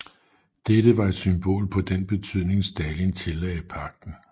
Dette var et symbol på den betydning Stalin tillagde pagten